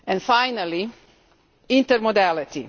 Finally, intermodality.